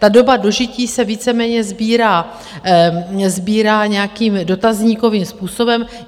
Ta doba dožití se víceméně sbírá nějakým dotazníkovým způsobem.